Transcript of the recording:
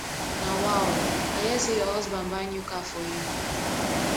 nawa oo i hear say your husband buy new car for you